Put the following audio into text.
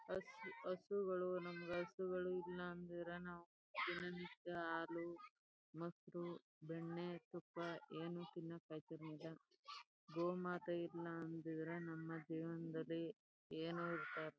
ಹಸ್ ಹಸುಗಳು ನಮ್ಗ್ ಹಸುಗಳ್ ಇಲ್ಲ ಅಂದಿದ್ರ ನಾವ್ ದಿನ ನಿತ್ಯ ಹಾಲು ಮೊಸರು ಬೆಣ್ಣೆ ತುಪ್ಪ ಏನು ತಿನ್ನಾಕ್ ಐತಾ ಇರ್ಲಿಲ್ಲ ಗೋಮಾತೆ ಇಲ್ಲ ಅಂದಿದ್ರೆ ನಮ್ಮ ಜೀವನದಲ್ಲಿ ಏನು ಇರ್ತ ಇರ್ಲಿಲ್ಲ .